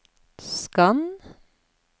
skann